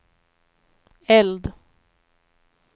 eld